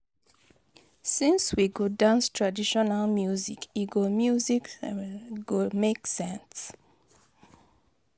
Since we go dance traditional music, e go music go make sense.